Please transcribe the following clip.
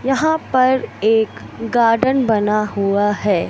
यहाँ पर एक गार्डन बना हुआ है।